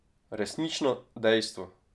Resnično dejstvo.